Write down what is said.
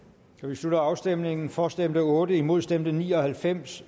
slutter afstemningen for stemte otte imod stemte ni og halvfems